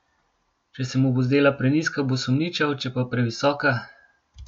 Če se mu bo zdela prenizka, bo sumničav, če pa previsoka ...